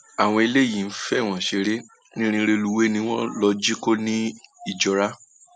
àwọn eléyìí ń fọwọn ṣeré irin rélùwéè ni wọn lọọ jí kó nìjọra